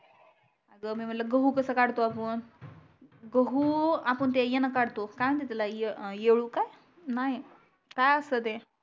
अग मी म्हणल गहू कस काढतो आपण गहू आपण ते यान काढतो येडूका नाही काय अस्त ते